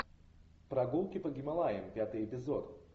прогулки по гималаям пятый эпизод